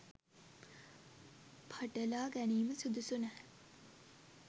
පටලා ගැනීම සුදුසු නැහැ.